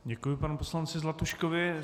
Děkuji panu poslanci Zlatuškovi.